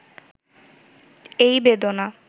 এই বেদনা